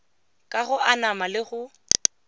ka go anama le go